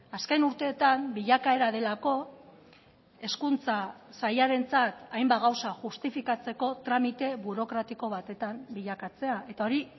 azken urteetan bilakaera delako hezkuntza sailarentzat hainbat gauza justifikatzeko tramite burokratiko batetan bilakatzea eta hori